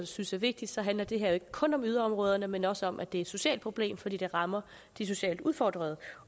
synes er vigtigt handler det her jo ikke kun om yderområderne men også om at det er et socialt problem fordi det rammer de socialt udfordrede